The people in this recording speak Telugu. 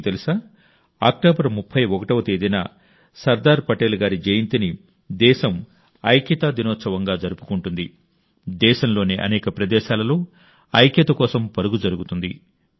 మీకు తెలుసా అక్టోబర్ 31వ తేదీన సర్దార్ సాహెబ్ జయంతిని దేశం ఏకతా దివస్ గా జరుపుకుంటుంది దేశంలోని అనేక ప్రదేశాలలో ఐక్యత కోసం పరుగు జరుగుతుంది